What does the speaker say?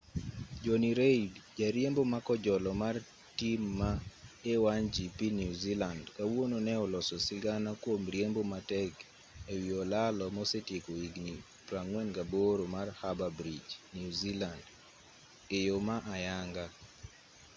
jonny reid jariembo ma kojolo mar tim ma a1gp new zealand kawuono ne oloso sigana kwom riembo matek e wi olalo mosetieko higni 48 mar harbour bridge new zealand e yo ma ayanga